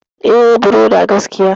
E Ibrother gaskiya.